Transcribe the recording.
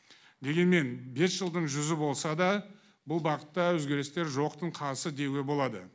дегенмен бес жылдың жүзі болса да бұл бағытта өзгерістер жоқтың қасы деуге болады